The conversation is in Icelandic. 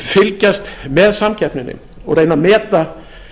fylgjast með samkeppninni og reyna að meta